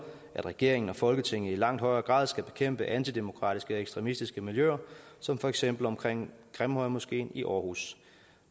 at regeringen og folketinget i langt højere grad skal bekæmpe antidemokratiske og ekstremistiske miljøer som for eksempel omkring grimhøjmoskeen i aarhus